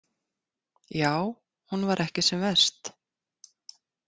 Já, hún var ekki sem verst.